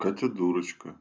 катя дурочка